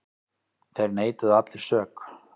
Þeir neituðu allir sök.